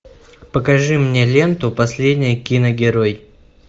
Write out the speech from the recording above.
покажи мне ленту последний киногерой